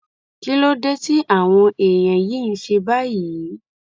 kí ló dé tí àwọn èèyàn yìí ń ṣe báyìí